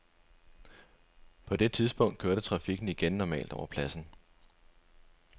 På det tidspunkt kørte trafikken igen normalt over pladsen.